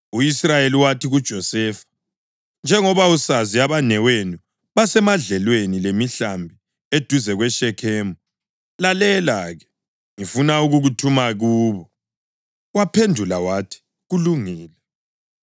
U-Israyeli wathi kuJosefa, “Njengoba usazi abanewenu basemadlelweni lemihlambi eduze kweShekhemu. Lalela-ke, ngifuna ukukuthuma kubo.” Waphendula wathi, “Kulungile.”